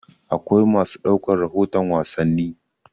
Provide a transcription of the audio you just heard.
Akwai masu ɗaukar rahoton wasanni.